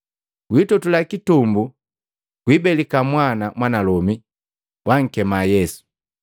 Gwitotula kitumbu gwibelika mwana mwanalome, gwankema Yesu.